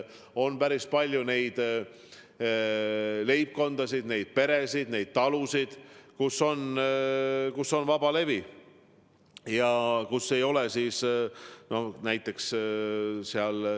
On päris palju neid leibkondi, neid peresid, neid talusid, kus on vabalevi ja pole digibokse.